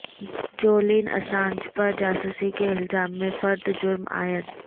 Julian Assange پر جاسوسی کے الزام میں فرد جرم عائد